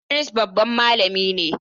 Idris babban malami ne.